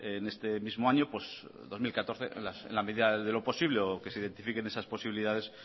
en este mismo año dos mil catorce en la medida de lo posible o que se identifiquen esas posibilidades